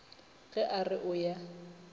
ge a re o ya